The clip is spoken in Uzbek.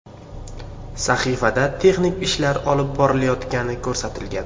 Sahifada texnik ishlar olib borilayotgani ko‘rsatilgan.